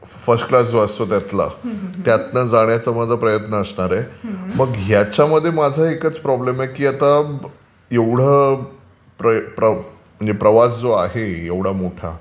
First class जो असतो त्यातला त्यातून जाण्याचं माझा प्रयत्न असणार आहे. मग ह्याच्यामध्ये माझा एकाच प्रॉब्लेम आहे की आता एवढं प्रवास जो आहे एवढा मोठा